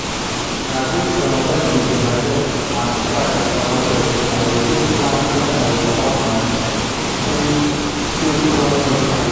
na based on when we go harvest and price for market i dey take plan when i go comot moni take take run any project.